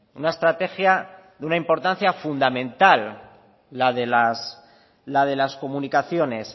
una estrategia de una importancia fundamental la de las comunicaciones